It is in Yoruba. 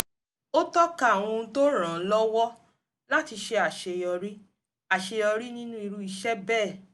ó tọ́ka àwọn ohun tó ràn án lọ́wọ́ láti ṣe àṣeyọrí àṣeyọrí nínú irú iṣẹ́ bẹ́ẹ̀